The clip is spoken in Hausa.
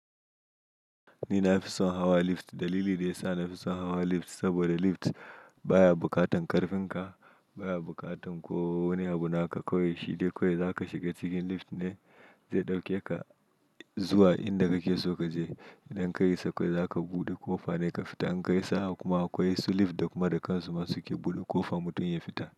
Ni na fi son hawa lift. Dalili da ya sa na fi son hawa lift saboda lift baya bukatan karfin ka, baya bukatan ko wani abu naka. Kowai shide kawai zaka shiga cikin lift ne zai ɗauke ka zuwa inda kake so ka je. Idan ka yi sakai zaka buɗe ko fa ne ka fita. In ka yi sa'a kuma akwai su lift da kuma da kansu ma suke buɗe ko fa mutum ya fita.